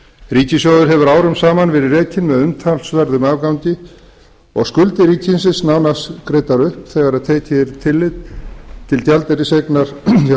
ríkissjóður hefur árum saman verið rekinn með umtalsverðum afgangi og skuldir ríkisins nánast greiddar upp þegar tillit er tekið til gjaldeyriseignar hjá seðlabanka íslands íslensk fyrirtæki hafa